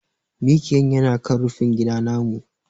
Miƙiyan yana kan rufingida namu.